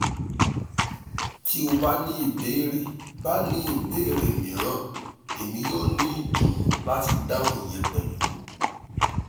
ti o ba ni ibeere ba ni ibeere miiran emi yoo ni idunnu lati dahun iyẹn pẹlu